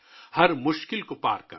ہر مشکل کو پار کر